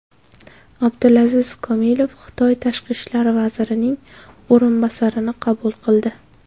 Abdulaziz Komilov Xitoy tashqi ishlar vazirining o‘rinbosarini qabul qildi.